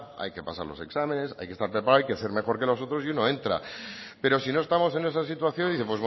hay que pasar los exámenes hay que estar preparado hay que ser mejor que los nosotros y uno entra pero si no estamos en esa situación dice